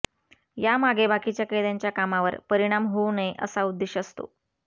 यामागे बाकीच्या कैद्यांच्या कामावर परिणाम होऊ नये असा उद्देश असतो